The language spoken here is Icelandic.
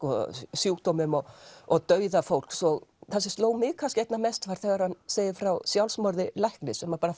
sjúkdómum og og dauða fólks og það sem sló mig kannski einna mest var þegar hann segir frá sjálfsmorði lækna sem bara